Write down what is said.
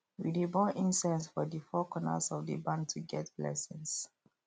we dey burn incense for the four corners of the barn to get blessings